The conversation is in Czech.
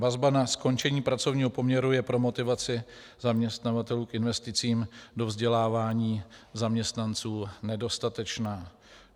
Vazba na skončení pracovního poměru je pro motivaci zaměstnavatelů k investicím do vzdělávání zaměstnanců nedostatečná.